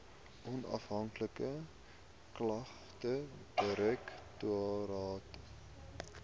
onafhanklike klagtedirektoraat